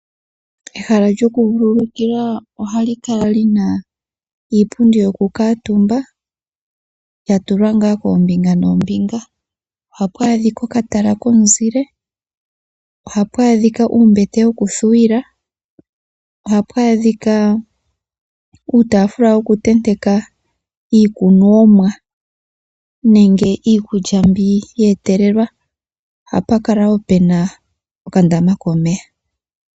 Ehala lyoku vululukilwa ohali kala lina iipundi yoku kamutumba, ya tulwa nga kombinga noombinga. Ohapu adhika oka tala komuzile, ohapu adhika uumbete woku thuwila, ohapu adhika uutafula woku tenteka iikunwa nenge iikulya mbi yeetelelwa, ohapu kala wo pena oka ndama komeya.